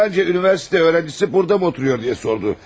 Filanca universitet öyrəncisi burda mı oturuyor deyə sordu.